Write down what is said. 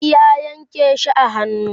zingi ya Yanke shi a hannu